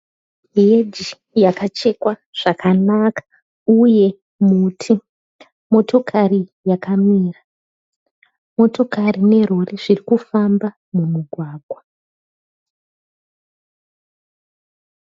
Heji yakachekwa zvakanaka uye muti. Motokari yakamira. Motokari nerori zviri kufamba mumugwagwa.